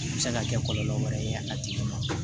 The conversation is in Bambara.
A bɛ se ka kɛ kɔlɔlɔ wɛrɛ ye a tigi ma